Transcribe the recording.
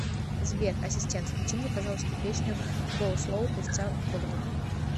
сбер ассистент включи мне пожалуйста песню гоу слоу певца гордон